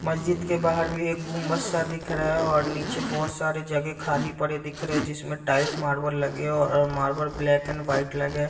मस्जिद के बाहर भी एक गुंम्बद सा दिख रहा है और नीचे बहुत सारे जगह खाली पड़े दिख रहें हैं और जिसमें टाइल्स मार्बल्स लगे हैं और मार्बल्स ब्लैक एंड वाइट लगे हैं।